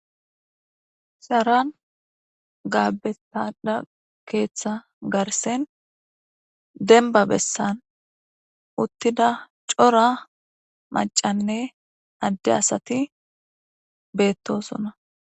shaaran gaabetada keeththa garsen denba bessan uttida cora macanne adde asati beettosona